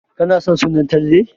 Kana son suna Talle?